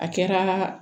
A kɛra